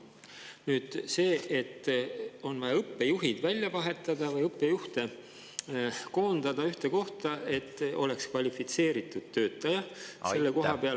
Nüüd see, et on vaja õppejuhid välja vahetada või õppejuht ühte kohta, et oleks kvalifitseeritud töötaja selle koha peal …